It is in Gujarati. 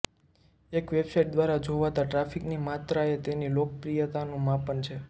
એક વેબ સાઇટ દ્વારા જોવાતા ટ્રાફિકની માત્રા એ તેની લોકપ્રિયતાનુ માપન છે